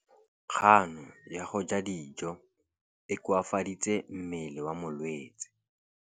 Kganô ya go ja dijo e koafaditse mmele wa molwetse.